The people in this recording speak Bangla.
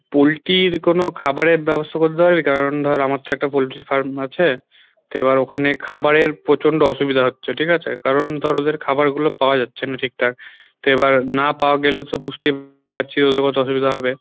পোল্টির কোনো খাবারের ব্যবস্থা করে দিতে পারবি কারণ ধর আমার তো একটা পোল্টির farm আছে তো এবার ওখানে খাবারের প্রচন্ড অসুবিধা হচ্ছে ঠিক আছে? কারণ ধর ওদের খাওয়ার গুলো পাওয়া যাচ্ছে না ঠিকঠাক তো এবার না পাওয়া গেলে তো বুঝতেই পারছিস ওদের কতো অসুবিধা হবে